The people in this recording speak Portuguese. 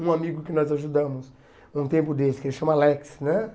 Um amigo que nós ajudamos, um tempo desse, que ele chama Alex, né?